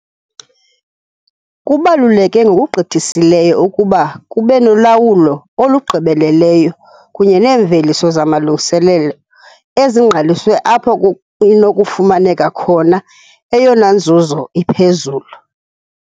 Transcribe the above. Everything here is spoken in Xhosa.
Kubaluleke ngokugqithisileyo ukuba kube nolawulo olugqibeleleyo kunye neemveliso zamalungiselelo ezingqaliswe apho kunokufumaneka khona eyona nzuzo iphezulu.